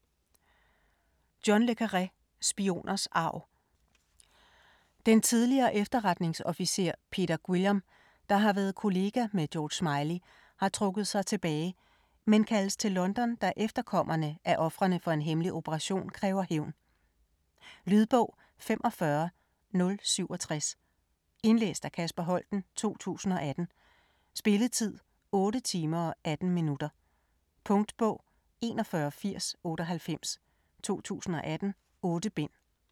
Le Carré, John: Spioners arv Den tidligere efterretningsofficer Peter Guillam, der har været kollega med George Smiley, har trukket sig tilbage, men kaldes til London, da efterkommerne af ofrene for en hemmelig operation kræver hævn. Lydbog 45067 Indlæst af Kasper Holten, 2018. Spilletid: 8 timer, 18 minutter. Punktbog 418098 2018. 8 bind.